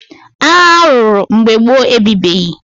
Agha a lụrụ mgbe gboo e bibeghị.